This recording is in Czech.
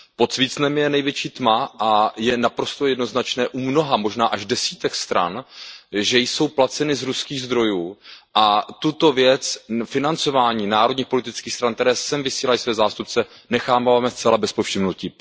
Pod svícnem je největší tma a je naprosto jednoznačné u mnoha, možná až desítek stran, že jsou placeny z ruských zdrojů, a tuto věc, financování národních politických stran, které sem vysílají své zástupce, necháváme zcela bez povšimnutí.